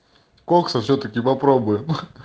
кокса всё-таки попробуем